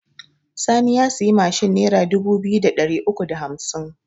Sani ya siyi mashin nera dubu biyu da ɗari uku da hamsin